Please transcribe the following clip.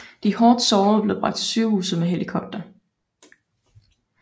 De hårdt sårede blev bragt til sygehuset med helikopter